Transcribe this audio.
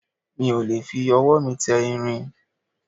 mi ò lè fi ọwọ́ mi tẹ irin